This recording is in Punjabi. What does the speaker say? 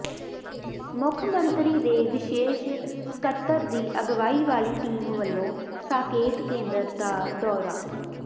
ਮੁੱਖ ਮੰਤਰੀ ਦੇ ਵਿਸ਼ੇਸ਼ ਸਕੱਤਰ ਦੀ ਅਗਵਾਈ ਵਾਲੀ ਟੀਮ ਵੱਲੋਂ ਸਾਕੇਤ ਕੇਂਦਰ ਦਾ ਦੌਰਾ